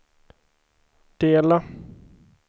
dela